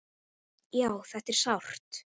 Já, þetta var sárt.